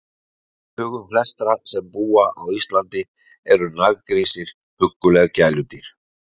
Í hugum flestra sem búa á Íslandi eru naggrísir hugguleg gæludýr.